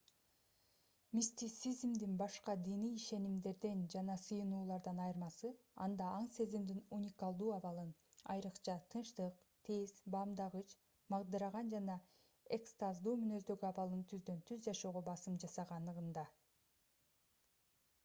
мистицизмдин башка диний ишенимдерден жана сыйынуулардан айырмасы анда аң-сезимдин уникалдуу абалын айрыкча тынчтык тез баамдагыч магдыраган же экстаздуу мүнөздөгү абалын түздөн-түз жашоого басым жасаганында